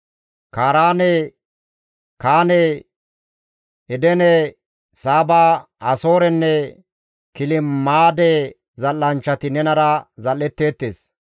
«Kaaraane, Kaane, Edene, Saaba, Asoorenne Kilmaade zal7anchchati nenara zal7etteettes.